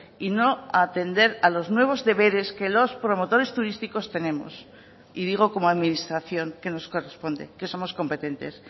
y no atender a los nuevos deberes que los promotores turísticos tenemos y digo como administración que nos corresponde que somos competentes